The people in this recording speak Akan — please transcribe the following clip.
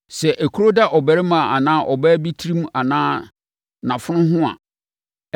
“Sɛ ekuro da ɔbarima anaa ɔbaa bi tirim anaa nʼafono ho a,